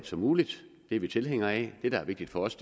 som muligt det er vi tilhængere af det der er vigtigt for os